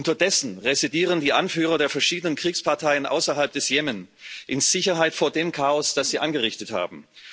Unterdessen residieren die Anführer der verschiedenen Kriegsparteien außerhalb des Jemen in Sicherheit vor dem Chaos, das sie angerichtet haben.